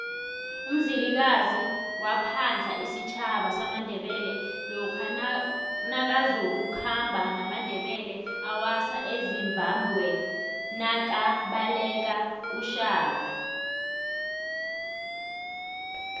umzilikazi waphadla isitjhaba samandebele lokha nakazoku khamba namandebele awasa ezimbabwenakabalekele ushaka